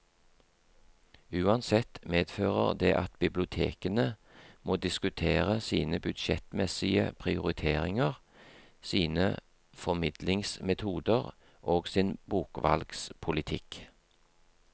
Uansett medfører det at bibliotekene må diskutere sine budsjettmessige prioriteringer, sine formidlingsmetoder og sin bokvalgspolitikk.